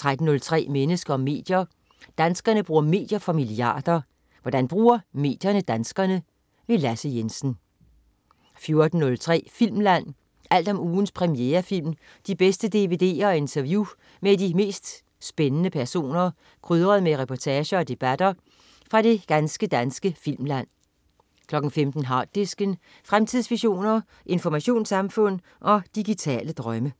13.03 Mennesker og medier. Danskerne bruger medier for milliarder. Hvordan bruger medierne danskerne? Lasse Jensen 14.03 Filmland. Alt om ugens premierefilm, de bedste dvd'er og interview med de mest spændende personer, krydret med reportager og debatter fra det ganske danske filmland 15.00 Harddisken. Fremtidsvisioner, informationssamfund og digitale drømme